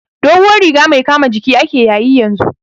Doguwar riga mai kama jiki ake yayi yanzu